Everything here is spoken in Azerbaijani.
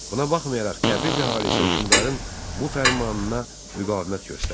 Buna baxmayaraq Təbriz əhalisi hökmdarın bu fərmanına müqavimət göstərdi.